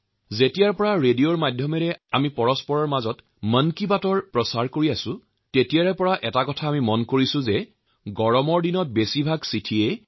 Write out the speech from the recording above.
যেতিয়াৰ পৰা আকাশবাণীৰ জৰিয়তে মই এই জনপ্ৰিয় অনুষ্ঠান মন কী বাত প্ৰচাৰ কৰিছো তেতিয়াৰ পৰাই মই লক্ষ্য কৰিছো এই গ্ৰীষ্মকাল আৰু গৰমৰ সংকটক লৈ অধিক হাৰত চিঠি আহে